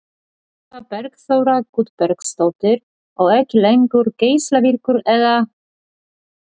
Eva Bergþóra Guðbergsdóttir: Og ekki lengur geislavirkur eða?